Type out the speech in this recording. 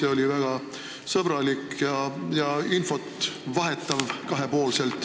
See oli väga sõbralik, saime omavahel infot vahetada.